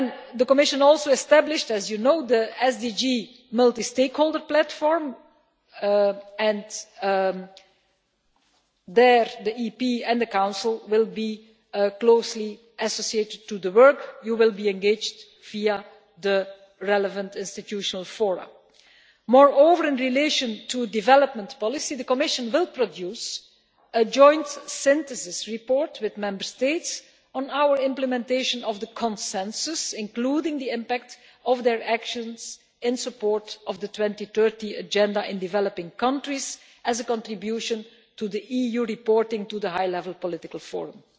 The Commission also established, as you know, the SDG multi stakeholder platform, and there the European Parliament and the Council will be closely associated with the work. You will be engaged via the relevant institutional fora. Moreover, in relation to development policy, the Commission will produce a joint synthesis report with Member States on our implementation of the consensus, including the impact of their actions in support of the 2030 Agenda in developing countries, as a contribution to the EU reporting to the High Level Political Forum.